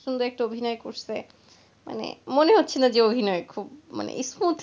একটা মেয়ে এত সুন্দর অভিনয় করেছে মানে মনে হচ্ছে না যে ওর অভিনয় খুব smoothly রোলটা play করছে,